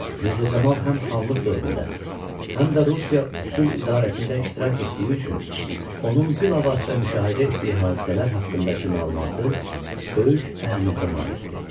Mirzə Camal həm xanlıq dövründə, həm də Rusiya üsul idarəsində iştirak etdiyi üçün onun bilavasitə müşahidə etdiyi hadisələr haqqındakı məlumatı böyük əhəmiyyətə malikdir.